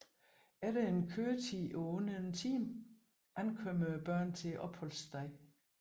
Efter en køretid på under en time ankommer børnene til opholdsstedet